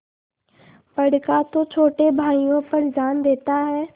बड़का तो छोटे भाइयों पर जान देता हैं